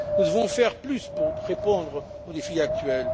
Nous devons faire plus pour répondre aux défis actuels.